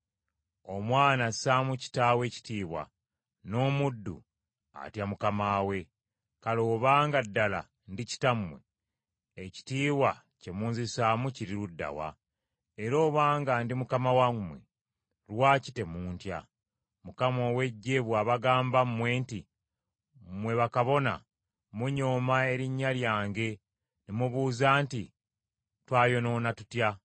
“Omwana assaamu kitaawe ekitiibwa, n’omuddu atya mukama we. Kale obanga ddala ndi kitammwe, ekitiibwa kye munzisaamu kiri ludda wa? Era obanga ndi mukama wammwe, lwaki temuntya?” bw’ayogera Mukama ow’Eggye. Mukama ow’Eggye bw’abagamba mmwe nti, “Mmwe bakabona munyooma erinnya lyange. “Ne mubuuza nti, ‘Twayonoona tutya?’